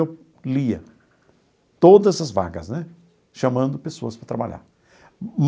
Eu lia todas as vagas né, chamando pessoas para trabalhar.